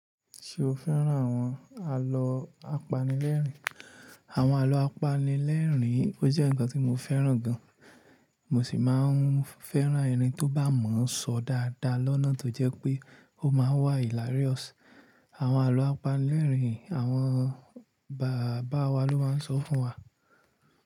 Ṣé o fẹ́ràn àwọn àlọ́ apanilẹ́rìn-ín? Àwọn àlọ́ apanilẹ́rìn-ín ó jẹ́ nǹkan tí mo fẹ́ràn gan. Mo sì máa ń fẹ́ràn ẹni tó bá mọ̀ ń sọ dáadáa lọ́nà tó jẹ́ pé ó máa ń wà hilarious. Àwọn àlọ́ apanilẹ́rìn-ín àwọn bàbá wa ló máa ń sọ fún wa.